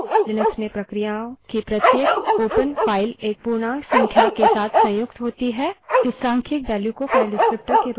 इस सांख्यिक values को file डिस्क्रीप्टर विवरणक के रूप में जाना जाता है